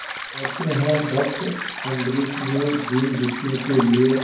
कहते हैं भक्त अम्बरीश ने दीनदुखियों के लिए